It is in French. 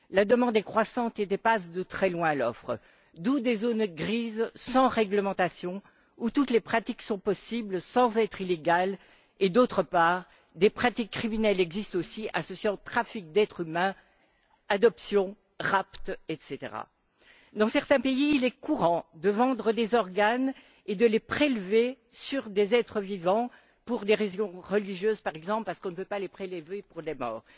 La demande est croissante et dépasse de très loin l'offre, d'où des zones grises, sans réglementation, où toutes les pratiques sont possibles sans être illégales et, d'autre part, des pratiques criminelles existent aussi, associant trafic d'êtres humains, adoption, rapt, etc. Dans certains pays, il est courant de vendre des organes et de les prélever sur des êtres vivants pour des raisons religieuses, par exemple, parce qu'on ne peut pas les prélever sur les morts.